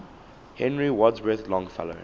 henry wadsworth longfellow